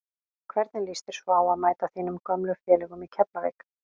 Hvernig lýst þér svo á að mæta þínum gömlu félögum í Keflavík?